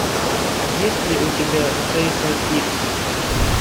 есть ли у тебя джейсон икс